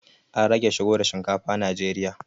An rage shigo da shinkafa najeriya